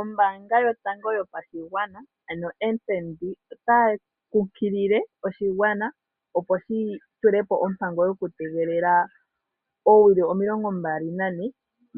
Ombaanga yotango yopashigwana ano FNB otayi kunkilile oshigwana opo shi tulepo ombango tokutegelela oowili 24